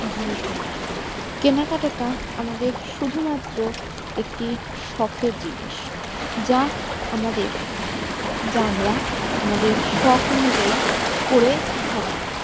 জিনিস ও নেই কেনাকাটা আমাদের শুধু মাত্র একটি শখের জিনিস যা আমাদের যা আমরা আমাদের শখ অনুযায়ী করে থাকি